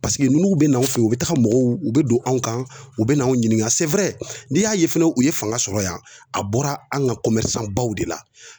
Paseke n'u be na anw fe yen ,u bi taga mɔgɔw ,u be don anw kan, u be n'anw ɲininka n'i y'a ye fɛnɛ u ye fanga sɔrɔ yan a bɔra an ka baw de la.